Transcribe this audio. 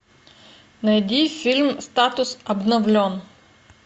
найди фильм статус обновлен